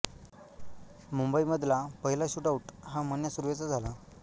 मुंबईमधला पहिला shootout हा मन्या सुर्वेचा झाला